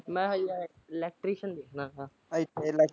ਮੈਂ ਹਜੇ electrician ਸਿੱਖਣਾ ਇੱਥੇ ।